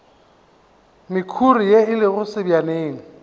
mekhuri ye e lego sebjaneng